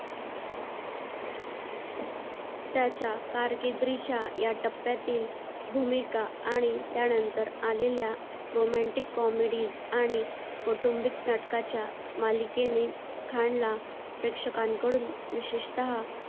त्याच्या कार्कीद्रीच्या या टप्प्यातील भूमिका आणि त्यानंतर आलेल्या romantic comedy आणि कौटुंबिक नाटकाच्या मालिकेने खानला प्रेक्षकांकडून विशेषतहा